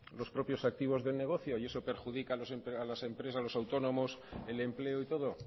los propios activos del negocio y eso perjudica a las empresas a los autónomos el empleo y todo